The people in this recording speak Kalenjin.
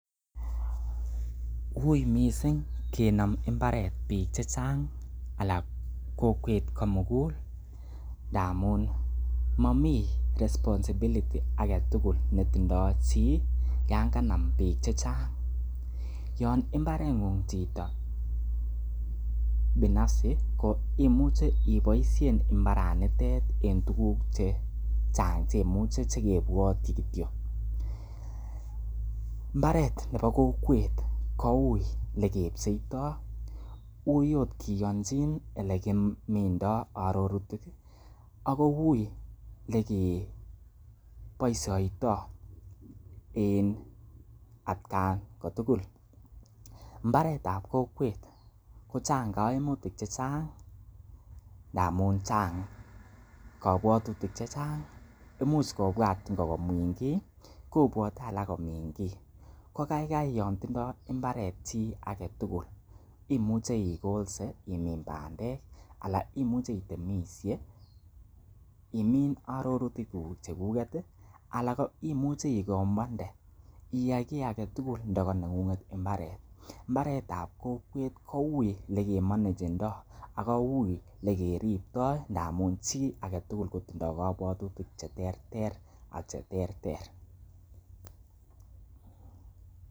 Uiy mising kenom mbaret biik chechang ana kokwet komugul ngamun momi responsibility age tugul netindo chi yan kanam biik che chang. Yan mbareng'ung chito binafsi koimuche ibosien mbaranitet en tuguk che chang che kebwotyi. Mbaret nebo kokwet kouiy ole kepcheito uiy ot kiyoncjin ole kimindo minutik ago uiy ele ke boisioito en atkan kotugul mbaret ab kokwet kochang kamiutik che chang ndamun chang kabwatutik che chang, imuch kobwat ingo komin kiy, kobwati alak komin kiy, Ko kaigai yon tindo mbaret chi age tugul imuche igolse imin bandek anan imuche itemishe imin minutik cheguket ala ko imuche igombwande, iyai kiy age tugul ndo koneng'ung'et mbaret. Mbaret ab kokwet kouiy ole kemanagendo ago uiy ele keripto ndamun chi age tugul kotindo kobwatutik che terter .